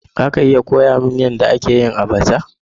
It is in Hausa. Za a iya koya mani yadda ake yin abacha?